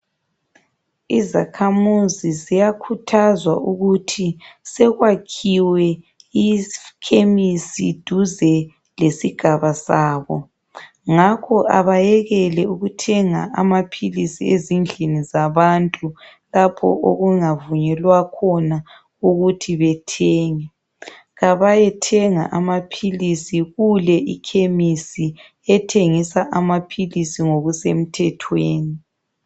Izakhamuzi ziyakhuthazwa ukuthi sekwakhiwe ikhemisi duze lesigaba sabo. Ngakho abayekele ukuthenga amaphilisi ezindlini zabantu lapho okungavunyelwa khona ukuthi bathenge. Abayethenga amaphilisi kuke ikhemisi ethengisa ngokusemthethweni.